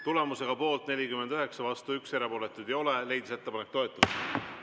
Tulemusega poolt 49, vastu 1, erapooletuid ei ole, leidis ettepanek toetust.